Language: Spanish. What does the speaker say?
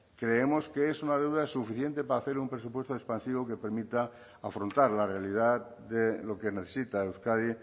creemos que es una deuda suficiente para hacer un presupuesto expansivo que permita afrontar la realidad de lo que necesita euskadi